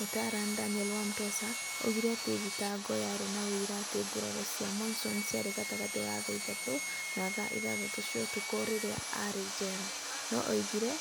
Mũtaarani Daniel Wamotsa oigire atĩ thitango yarĩ na ũira atĩ nguraro cia Monson ciarĩ gatagatĩ ka thaa ithatũ na thaa ithathatũ cia ũtukũ rĩrĩa aarĩ njera, no nĩ aagire